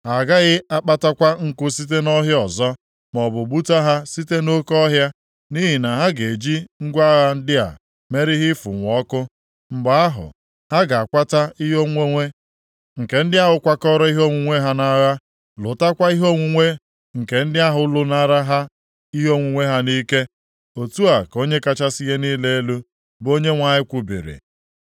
Ha agaghị akpatakwa nkụ site nʼọhịa ọzọ, maọbụ gbuta ha site nʼoke ọhịa, nʼihi na ha ga-eji ngwa agha ndị a mere ihe ịfụnwu ọkụ. Mgbe ahụ, ha ga-akwata ihe onwunwe nke ndị ahụ kwakọrọ ihe onwunwe ha nʼagha, lụtakwa ihe onwunwe nke ndị ahụ lụnara ha ihe onwunwe ha nʼike. Otu a ka Onye kachasị ihe niile elu, bụ Onyenwe anyị kwubiri.